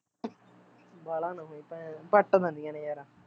ਵਾਲਾਂ ਨਾ ਹੋਈ ਭੈਣ ਪੱਟ ਦਿੰਦੀਆ ਨੇ ਯਾਰ